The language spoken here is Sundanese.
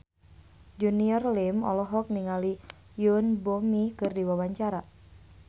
Junior Liem olohok ningali Yoon Bomi keur diwawancara